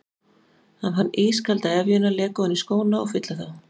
Hann fann ískalda efjuna leka ofan í skóna og fylla þá.